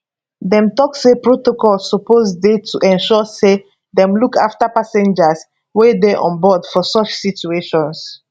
dem tok say protocol suppose dey to ensure say dem look afta passengers wey dey onboard for such situations